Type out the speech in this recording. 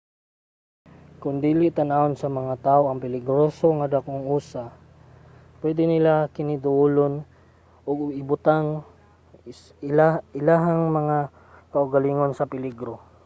kon dili tan-awon sa mga tawo nga peligroso ang dagkong usa pwede nila kiniduolon ug ibutang ilahang mga kaugalingon sa peligro